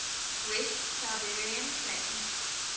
west siberian plain